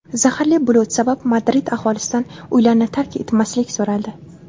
Zaharli bulut sabab Madrid aholisidan uylarni tark etmaslik so‘raldi.